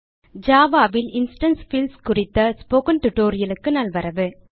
Java ல் instance fields குறித்த tutorial க்கு நல்வரவு